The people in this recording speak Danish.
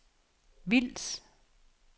Vils